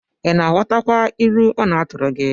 Ị na-aghọtakwa ilu ọ na-atụrụ gi?